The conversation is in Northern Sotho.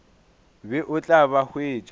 be o tla ba hwetša